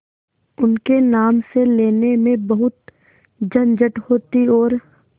उनके नाम से लेने में बहुत झंझट होती और